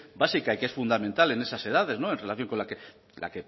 básica y que es fundamental en esas edades en relación con la